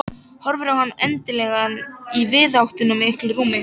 Horfir á hann endilangan í víðáttumiklu rúmi.